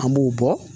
An b'u bɔ